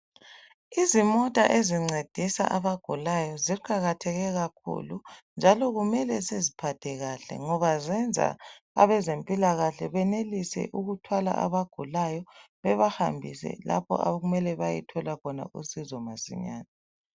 Izimota ezincedisa abagulayo ziqakatheke kakhulu njalo kumele siziphathe kahle ngoba zenza abezempilakahle benelise ukuthwala abagulayo bebahambise lapho okumele bayethola khona usizo masinyane.